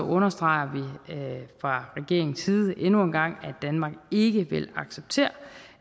understreger vi fra regeringens side endnu en gang at danmark ikke vil acceptere